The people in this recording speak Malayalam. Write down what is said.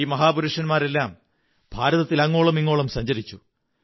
ഈ മഹാപുരുഷന്മാരെല്ലാം ഭാരത്തിലങ്ങോളമിങ്ങോളം സഞ്ചരിച്ചു